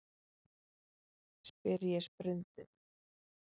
spyr ég sprundið.